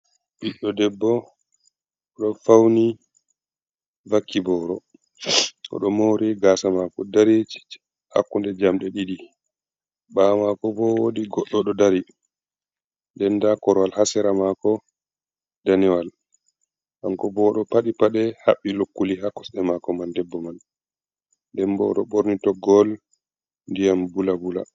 Ɓiɗɗo debbo ɗo fauni vakki boro oɗo mari gasa mako darei hakkunde jamde ɗiɗi bawo mako bo wodi goɗɗo ɗo dari den nda korwal ha sera mako daniwal kanko bo ɗo paɗi paɗe haɓɓi lokkuli ha kosɗe mako man debbo man debbo ɗo ɓorni toggowol ndiyam bula bula.